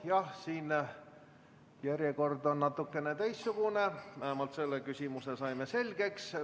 Aga õige jah, järjekord on natukene teistsugune, aga vähemalt selle küsimuse sain selgeks.